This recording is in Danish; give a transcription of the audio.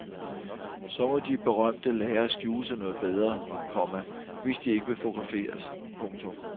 Så må de berømte lære at skjule sig noget bedre, komma hvis de ikke vil fotograferes. punktum